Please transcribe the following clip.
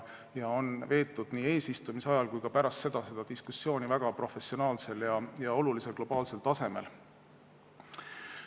Nii eesistumise ajal kui ka pärast seda on seda diskussiooni peetud väga professionaalsel ja olulisel globaalsel tasemel.